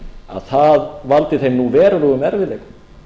að það valdi þeim nú verulegum erfiðleikum